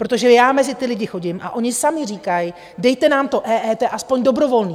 Protože já mezi ty lidi chodím a oni sami říkají: Dejte nám to EET aspoň dobrovolné.